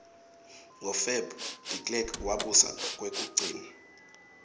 ngo feb derklerk wabusa kwekugcina